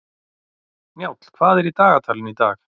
Njáll, hvað er í dagatalinu í dag?